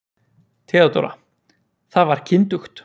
THEODÓRA: Það var kyndugt.